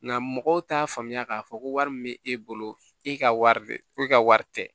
Nka mɔgɔw t'a faamuya k'a fɔ ko wari min bɛ e bolo e ka wari de ko e ka wari tɛ